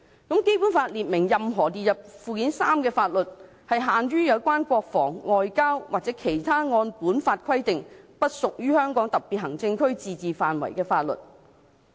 "《基本法》亦列明，"任何列入附件三的法律，限於有關國防、外交和其他按本法規定不屬於香港特別行政區自治範圍的法律。